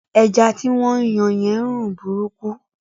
Ẹja tí wọ́n ń yan yẹn ń rùn burúkú